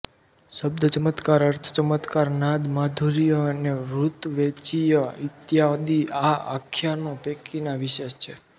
શબ્દચમત્કાર અર્થચમત્કાર નાદ માધુર્ય અને વૃત્તવૈચિય ઇત્યાદિ આ આખ્યાનો પૈકીનાં વિશેષ છે